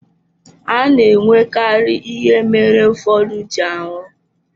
A na-enwekarị ihe mere ụfọdụ ji anwụ.